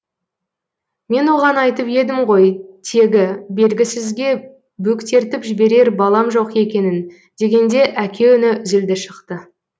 мен оған айтып едім ғой тегі белгісізге бөктертіп жіберер балам жоқ екенін дегенде әке үні зілді шықты